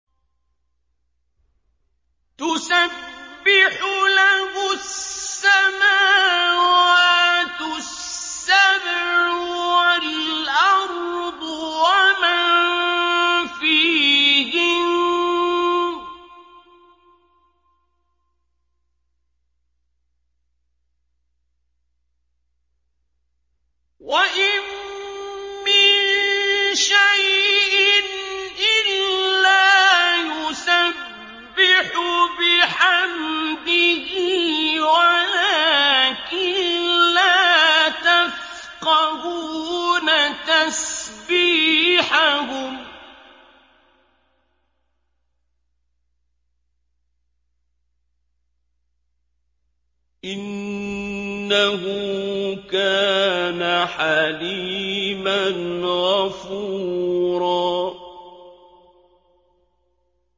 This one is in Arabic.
تُسَبِّحُ لَهُ السَّمَاوَاتُ السَّبْعُ وَالْأَرْضُ وَمَن فِيهِنَّ ۚ وَإِن مِّن شَيْءٍ إِلَّا يُسَبِّحُ بِحَمْدِهِ وَلَٰكِن لَّا تَفْقَهُونَ تَسْبِيحَهُمْ ۗ إِنَّهُ كَانَ حَلِيمًا غَفُورًا